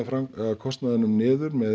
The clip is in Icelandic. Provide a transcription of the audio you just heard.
kostnaðinum niður með